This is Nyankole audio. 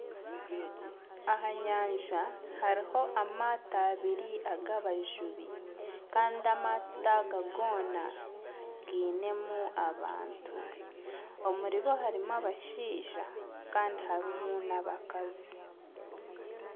Aha nyanja hariho amaato abiri ag'abajubi kandi amaato aga goona giinemu abantu omuribo harimu abashaija kandi harimu n'abakazi.